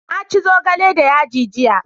na ci zogale da yaji jiya